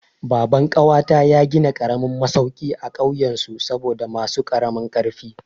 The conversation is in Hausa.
Baban ƙawata ya gina karamin masauki a kauyen su saboda masu karamin ƙarfi.